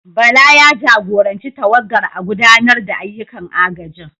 Bala, ya jagoranci tawagar a gudanar da ayyukan agajin.